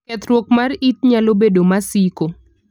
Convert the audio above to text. Kethruok mar it nalo bedo masiko.